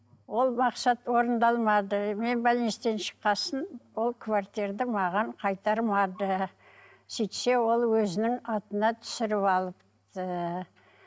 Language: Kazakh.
ол мақсат орындалмады мен шыққан соң ол маған қайтармады сөйтсе ол өзінің атына түсіріп алыпты